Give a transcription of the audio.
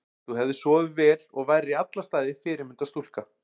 Þú hefðir sofið vel og værir í alla staði fyrirmyndar stúlka.